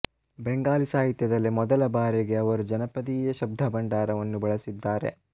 ಬೆಂಗಾಲಿ ಸಾಹಿತ್ಯದಲ್ಲಿ ಮೊದಲ ಬಾರಿಗೆ ಅವರು ಜನಪದೀಯ ಶಬ್ದಭಂಡಾರವನ್ನು ಬಳಸಿದ್ದಾರೆ